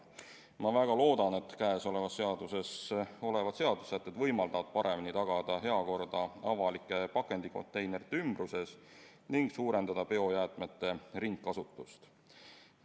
Ma väga loodan, et käesolevas seaduses olevad seadusesätted võimaldavad paremini tagada heakorda avalike pakendikonteinerite ümbruses ning suurendada biojäätmete ringkasutust.